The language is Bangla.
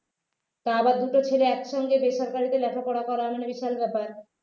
তাও আবার দুটো ছেলে একসঙ্গে বেসরকারিতে লেখাপড়া করা মানে বিশাল ব্যাপার